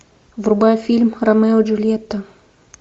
врубай фильм ромео и джульетта